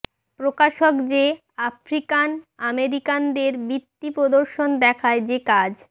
প্রকাশক যে আফ্রিকান আমেরিকানদের বৃত্তি প্রদর্শন দেখায় যে কাজ